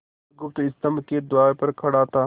बुधगुप्त स्तंभ के द्वार पर खड़ा था